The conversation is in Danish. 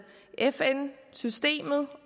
fn systemet